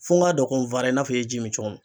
Fɔ n ka dɔn ko n fara i n'a fɔ e ji min cogo min